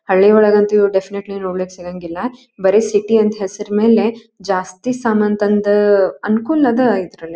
ಹಳ್ಳಿ ಒಳಗಂತೂ ಇವು ಡೆಫಿನಿಟ್ಲಿ ನೋಡಕ್ ಸಿಗಂಗಿಲ್ಲ ಬರಿ ಸಿಟಿ ಅಂತ ಹೆಸರ ಮೇಲೆ ಜಾಸ್ತಿ ಸಾಮಾನು ತಂದು ಅನುಕೂಲ‌ ಅದ ಇದ್ರಲ್ಲಿ.